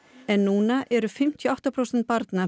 en núna eru fimmtíu og átta prósent barna